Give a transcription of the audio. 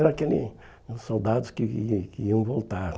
Era aquele soldados que iam que iam voltar.